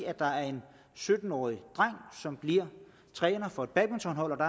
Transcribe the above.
sytten årig dreng som bliver træner for et badmintonhold og